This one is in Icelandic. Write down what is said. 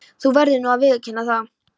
Þú verður nú að viðurkenna það.